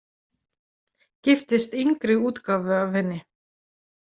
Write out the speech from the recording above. Giftist yngri útgáfu af henni.